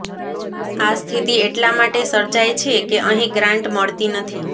આ સ્થિતી એટલા માટે સર્જાઇ છે કે અહીં ગ્રાંટ મળતી નથી